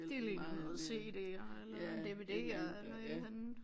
Det ligner noget cd og eller en dvd og eller et eller andet